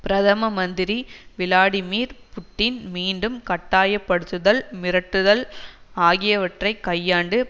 பிரதம மந்திரி Vladimir Putin மீண்டும் கட்டாயப்படுத்துதல் மிரட்டுதல் ஆகியவற்றை கையாண்டு